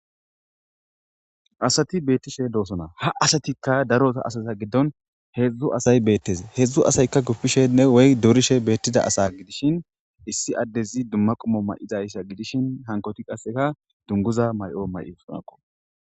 Asati beetishe doosona. Ha asaitika daro asata giddon heedzu asati beetosona. Heedzu asatika guppishene durishe beetizaysa gidishin, issi addes hara medho mayo mayi dizaysa gidikoka. Hankoyti qasseka dunguza mayo mayidosona.